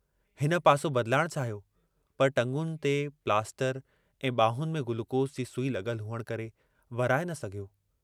हिन पासो बदलाइण चाहियो पर टंगुनि ते प्लास्टर ऐं बांहुनि में गुलूकोस जी सुई लगुल हुअण करे वराए न सघियो।